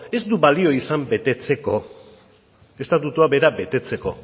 ez du balio izan betetzeko estatutua bera betetzeko